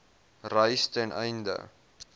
reis ten einde